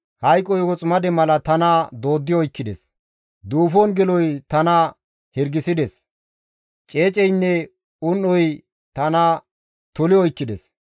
Hayqoy woximade mala tana dooddi oykkides; duufon geloy tana hirgisides. Ceeceynne un7oy tana toli oykkides.